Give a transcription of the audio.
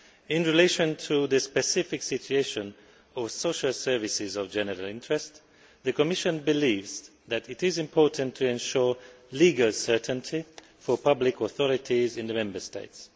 In relation to the specific situation of social services of general interest the Commission believes that it is important to ensure legal certainty for public authorities in the Member States.